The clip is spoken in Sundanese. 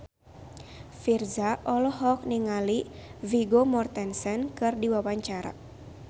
Virzha olohok ningali Vigo Mortensen keur diwawancara